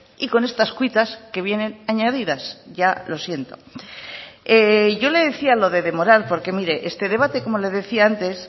y con estas cuitas que vienen añadidas ya lo siento yo le decía lo de demorar porque mire este debate como le decía antes